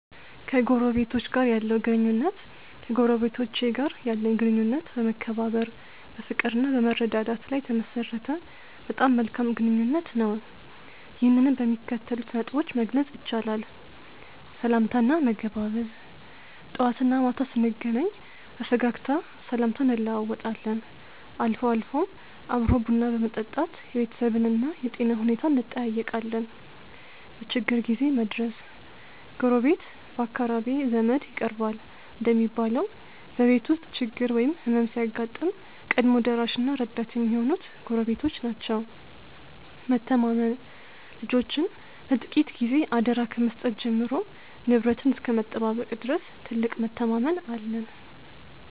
ከጎረቤቶች ጋር ያለው ግንኙነት ከጎረቤቶቼ ጋር ያለኝ ግንኙነት በመከባበር፣ በፍቅርና በመረዳዳት ላይ የተመሠረተ በጣም መልካም ግንኙነት ነው። ይህንንም በሚከተሉት ነጥቦች መግለጽ ይቻላል፦ .ሰላምታና መገባበዝ፦ ጠዋትና ማታ ስንገናኝ በፈገግታ ሰላምታ እንለዋወጣለን፤ አልፎ አልፎም አብሮ ቡና በመጠጣት የቤተሰብንና የጤና ሁኔታን እንጠያየቃለን። .በችግር ጊዜ መድረስ፦ ጎረቤት ከአካራቢ ዘመድ ይቀርባል እንደሚባለው፣ በቤት ውስጥ ችግር ወይም ሕመም ሲያጋጥም ቀድሞ ደራሽና ረዳት የሚሆኑት ጎረቤቶች ናቸው። .መተማመን፦ ልጆችን ለጥቂት ጊዜ አደራ ከመስጠት ጀምሮ ንብረትን እስከ መጠባበቅ ድረስ ትልቅ መተማመን አለን።